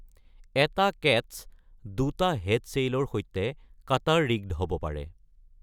এটা কেটচ্ দুটা হেড ছেইলৰ সৈতে কাটাৰ-ৰিগড্ হ'ব পাৰে।